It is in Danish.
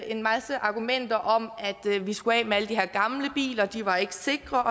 en masse argumenter om at vi skulle af med alle de her gamle biler de var ikke sikre